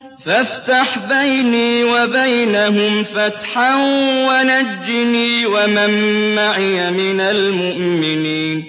فَافْتَحْ بَيْنِي وَبَيْنَهُمْ فَتْحًا وَنَجِّنِي وَمَن مَّعِيَ مِنَ الْمُؤْمِنِينَ